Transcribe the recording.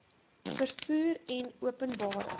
vervoer en openbare